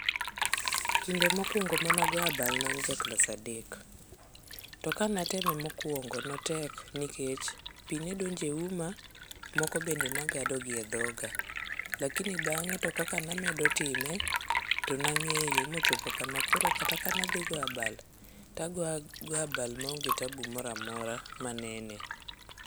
Kinde mokwongo manago abal nean ja klas adek. To kanateme mokwongo notek nikech pi nedonjeuoma, moke bende nagado gi e dhoga. Lakini bang'e to kaka namedo time to nang'eyo mochopo kamo koro kata kanadhi goyabal, tagoyagoya abal maonge tabu moramora manene.